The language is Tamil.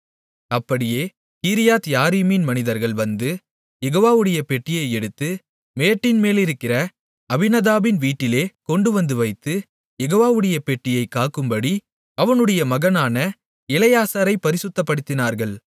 அப்படியே கீரியாத்யாரீமின் மனிதர்கள் வந்து யெகோவாவுடைய பெட்டியை எடுத்து மேட்டின் மேலிருக்கிற அபினதாபின் வீட்டிலே கொண்டுவந்து வைத்து யெகோவாவுடைய பெட்டியைக் காக்கும்படி அவனுடைய மகனான எலெயாசாரைப் பரிசுத்தப்படுத்தினார்கள்